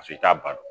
Paseke i t'a dɔn